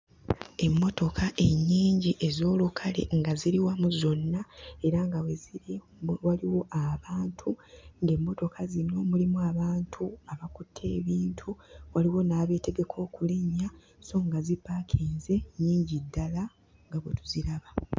Emmotoka ennyingi ez'olukale nga ziri wamu zonna era nga we ziri waliwo abantu, ng'emmotoka zino mulimu abantu abakutte ebintu, waliwo n'abeetegeka okulinnya sso nga zipaakinze nnyingi ddala nga bwe tuziraba.